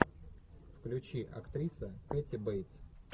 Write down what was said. включи актриса кэти бейтс